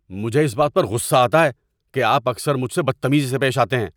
مجھے اس بات پر غصہ آتا ہے کہ آپ اکثر مجھ سے بدتمیزی سے پیش آتے ہیں۔